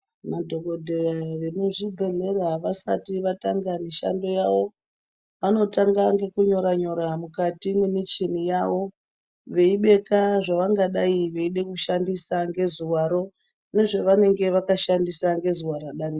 Madhokodheya emuzvibhedhlera vasati vatanga mishando yawo vanotanga nekunyora nyora mukati memichini yawo veibeka zvavangada kushandisa ngezuwaro nezvavanenge vashandisa ngezuwa radarika.